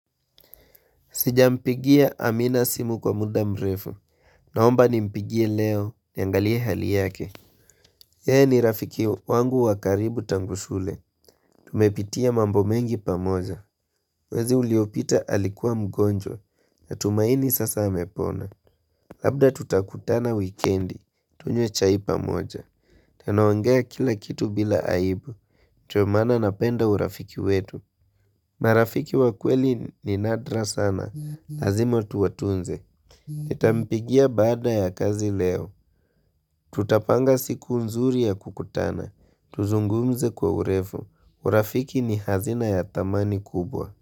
Sijampigia amina simu kwa muda mrefu. Naomba ni mpigie leo niangalie hali yake. Ye ni rafiki wangu wakaribu tangusule. Tumepitia mambo mengi pamoja. Mwezi uliopita alikuwa mgonjwa. Natumaini sasa amepona. Labda tutakutana wikendi. Tunywe chai pamoja. Tana ongea kila kitu bila aibu. Ndio maana napenda urafiki wetu. Marafiki wa kweli ni nadra sana. Lazima tuwatunze, nitampigia baada ya kazi leo. Tutapanga siku nzuri ya kukutana. Tuzungumze kwa urefu. Urafiki ni hazina ya thamani kubwa.